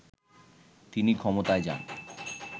তিনি ক্ষমতায় যান